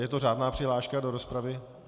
Je to řádná přihláška do rozpravy?